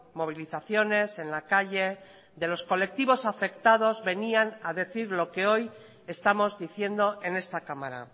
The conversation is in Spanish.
movilizaciones en la calle de los colectivos afectados venían a decir lo que hoy estamos diciendo en esta cámara